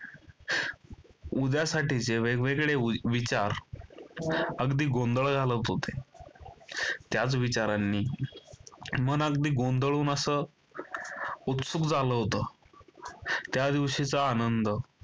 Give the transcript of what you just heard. उद्यासाठीचे वेगवेगळे विचार अगदी गोंधळ घालत होते. त्याच विचारांनी मन अगदी गोंधळून असं उत्सुक झालं होतं. त्या दिवशीचा आनंद